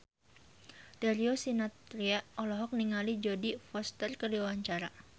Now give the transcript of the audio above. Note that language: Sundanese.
Darius Sinathrya olohok ningali Jodie Foster keur diwawancara